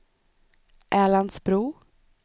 Älandsbro